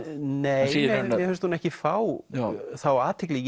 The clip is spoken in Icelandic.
nei mér finnst hún ekki fá þá athygli